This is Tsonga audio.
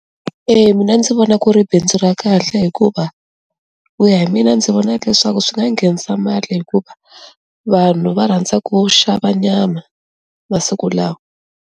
Eya mina ndzi vona ku ri bindzu ra kahle hikuva ku ya hi mina ndzi vona leswaku swi nga nghenisa mali hikuva vanhu va rhandza ku xava nyama masiku lawa.